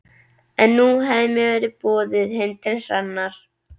En nú hafði mér verið boðið heim til Hrannar.